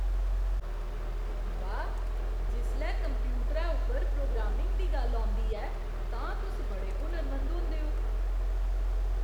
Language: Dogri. वाह्! जिसलै कंप्यूटरै उप्पर प्रोग्रामिंग दी गल्ल औंदी ऐ तां तुस बड़े हुनरमंद होंदे ओ।